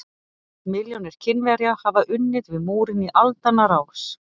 Milljónir Kínverja hafa unnið við múrinn í aldanna rás.